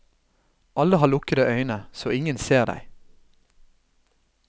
Alle har lukkede øyne, så ingen ser deg.